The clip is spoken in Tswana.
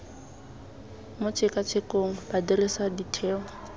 mo tshekatshekong ba dirisa ditheo